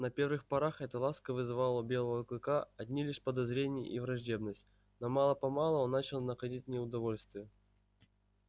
на первых порах эта ласка вызывала у белого клыка одни лишь подозрения и враждебность но мало помалу он начал находить в ней удовольствие